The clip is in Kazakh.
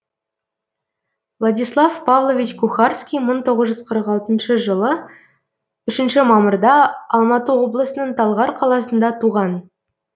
владислав павлович кухарский мың тоғыз жүз қырық алтыншы жылы үшінші мамырда алматы облысының талғар қаласында туған